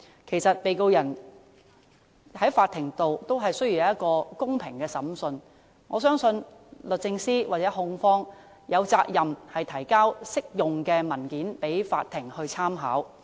其實，被告人在法庭也需要一個公平審訊，我相信律政司或控方有責任提交適用的文件供法庭參考。